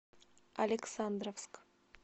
александровск